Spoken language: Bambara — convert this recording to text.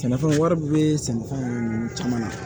Sɛnɛfɛnw wari bɛ sɛnɛfɛnw caman na